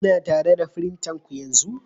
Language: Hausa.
Kuna tare da firintanku yanzu?